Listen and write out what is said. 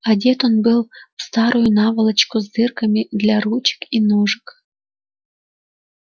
одет он был в старую наволочку с дырками для ручек и ножек